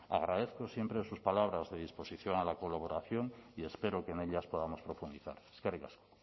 agradezco siempre sus palabras de disposición a la colaboración y espero que en ellas podamos profundizar eskerrik asko